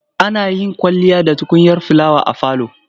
Ana yin kwalliya da tukunyar filawa a falo.